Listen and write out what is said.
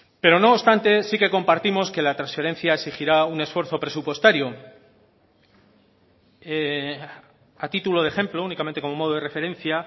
pero no obstante sí que compartimos que la transferencia exigirá un esfuerzo presupuestario a título de ejemplo únicamente como modo de referencia